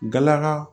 Galaga